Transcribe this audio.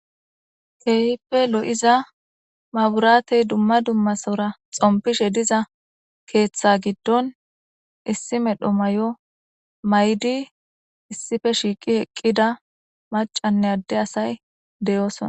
keehippe lo'iza maburatey dumma dummasora xompishe diza keeththa giddon issi medho may7o maydi issife shiiqi heqqida macanne adde asay deyoosona